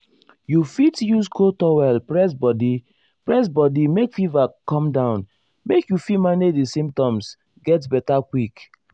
you fit use cold towel press body press body make fever come down make you fit manage di symptoms get beta quick.